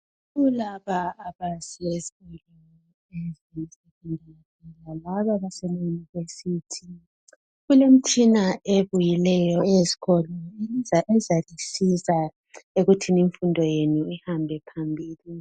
Kulaba abahleziyo bangaba beseyunivesithi kulemitshina ebuyileyo eyezikolo ezalisiza ekuthini imfundo yenu ihambe phambili